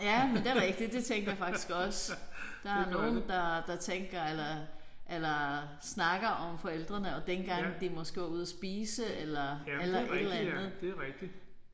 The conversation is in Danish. Ja men det rigtigt det tænkte jeg faktisk også. Der er nogen der der tænker eller eller snakker om forældrene og dengang de måske var ude af spise eller eller et eller andet